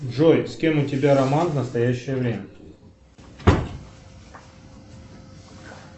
джой с кем у тебя роман в настоящее время